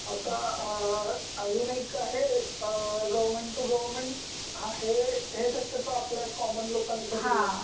आह. आता अजुन एक आहे गवर्नमेंट टू गवर्नमेंट हे शक्यतो फ़क्त आपल्या कॉमन लोकांसाठी असत.